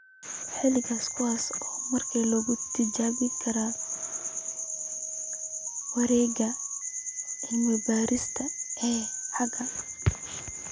Xalalka kuwaas oo markaa lagu tijaabin karo wareegyada cilmi-baarista ee xiga.